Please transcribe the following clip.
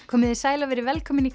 komiði sæl og verið velkomin í